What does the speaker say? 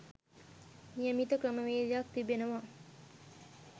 නියමිත ක්‍රමවේදයක්‌ තිබෙනවා.